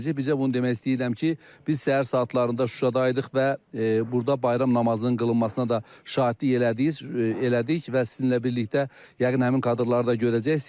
Bizə bunu demək istəyirəm ki, biz səhər saatlarında Şuşada idik və burda bayram namazının qılınmasına da şahidlik elədik və sizinlə birlikdə yəqin həmin kadrları da görəcəksiz.